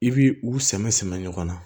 I bi u same samɛnɛ ɲɔgɔn na